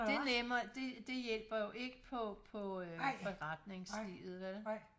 Det nemmer det hjælper jo ikke på på forretningslivet vel